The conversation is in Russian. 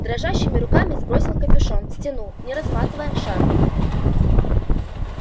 дрожащими руками сбросил капюшон стянул не разматывая шарф